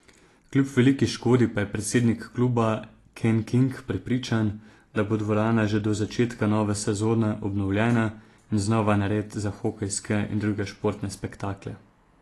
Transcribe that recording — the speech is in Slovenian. Kljub veliki škodi pa je predsednik kluba Ken King prepričan, da bo dvorana že do začetka nove sezone obnovljena in znova nared za hokejske in druge športne spektakle.